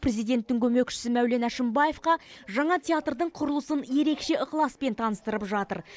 президенттің көмекшісі мәулен әшімбаевқа жаңа театрдың құрылысын ерекше ықыласпен таныстырып жатыр